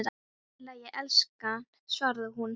Allt í lagi, elskan, svaraði hún.